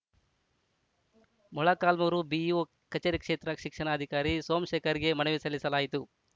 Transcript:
Molakalmuru BEO ಕಚೇರಿಕ್ಷೇತ್ರ ಶಿಕ್ಷಣಾಧಿಕಾರಿ ಸೋಮಶೇಖರ್‌ಗೆ ಮನವಿ ಸಲ್ಲಿಸಲಾಯಿತು